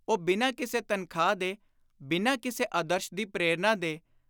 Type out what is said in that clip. ਉਹ ਬਿਨਾਂ ਕਿਸੇ ਤਨਖ਼ਾਹ ਦੇ, ਬਿਨਾਂ ਕਿਸੇ ਆਦਰਸ਼ ਦੀ ਪ੍ਰੇਰਣਾ ਦੇ,